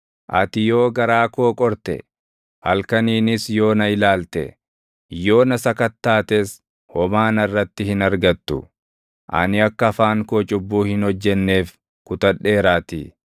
Ati yoo garaa koo qorte, halkaniinis yoo na ilaalte, yoo na sakattaates, homaa narratti hin argattu; ani akka afaan koo cubbuu hin hojjenneef kutadheeraatii.